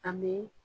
An bɛ